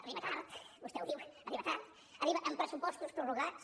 arriba tard vostè ho diu arriba amb pressupostos prorrogats